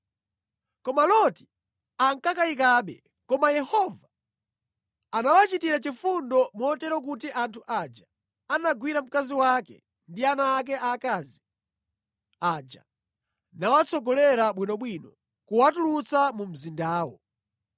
Koma Loti ankakayikabe. Koma Yehova anawachitira chifundo motero kuti anthu aja anagwira mkazi wake ndi ana ake aakazi aja nawatsogolera bwinobwino kuwatulutsa mu mzindawo.